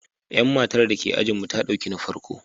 Yan matar da ke ajinmu ta dauki na farko.